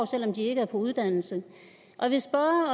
selv om de ikke er på uddannelse jeg vil spørge